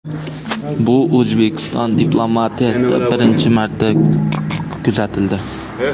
Bu O‘zbekiston diplomatiyasida birinchi marta kuzatildi.